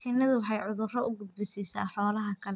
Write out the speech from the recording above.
Shinnidu waxay cudurro u gudbisaa xoolaha kale.